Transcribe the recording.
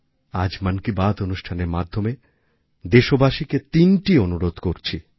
আজ মন কি বাত অনুষ্ঠানের মাধ্যমে দেশবাসীকে তিনটি অনুরোধ করছি